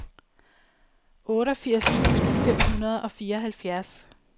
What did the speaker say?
otteogfirs tusind fem hundrede og fireoghalvfjerds